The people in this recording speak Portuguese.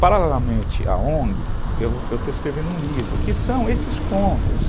Paralelamente à ongue, eu estou escrevendo um livro, que são esses contos.